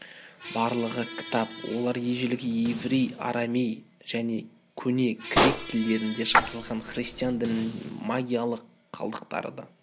барлығы кітап олар ежелгі еврей арамей және көне грек тілдерінде жазылған христиан дінінде магиялық қалдықтары да